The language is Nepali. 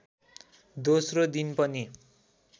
दोस्रो दिन पनि